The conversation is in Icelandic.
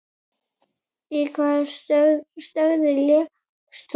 Í hvaða stöðu lékst þú?